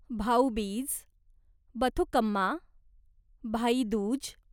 Bhaubeej, Bathukamma, Bhai Dooj